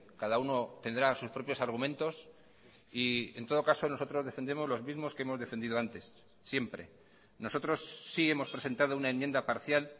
cada uno tendrá sus propios argumentos y en todo caso nosotros defendemos los mismos que hemos defendido antes siempre nosotros sí hemos presentado una enmienda parcial